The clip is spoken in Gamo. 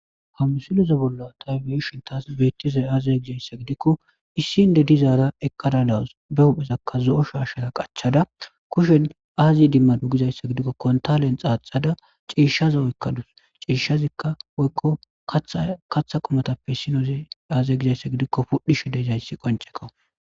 ha musile bolla ta beyishin tas beettizey aazee gizayssa gidikko issi inddi dizaara eqada dawus be huphezakka zo7o shaashshara qachada kushen aazi idimmade gizayssa gidikko kontalen xaaxada ciishshaza oykkadus ciishshazikka woykko katha qomatappe issinoozi aazee gizayssa gidikko pudhishe deezayssi qonceko